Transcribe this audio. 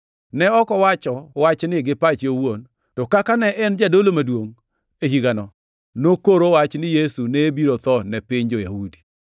Ne ok owacho wachni gi pache owuon, to kaka ne en jadolo maduongʼ e higano, nokoro wach ni Yesu ne biro tho ne piny jo-Yahudi,